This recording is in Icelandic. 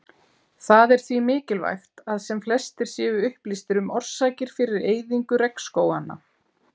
Það er því mikilvægt að sem flestir séu upplýstir um orsakir fyrir eyðingu regnskóganna.